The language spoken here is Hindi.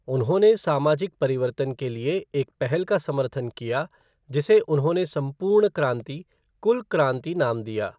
उन्होंने सामाजिक परिवर्तन के लिए एक पहल का समर्थन किया जिसे उन्होंने संपूर्ण क्रांति, "कुल क्रांति" नाम दिया।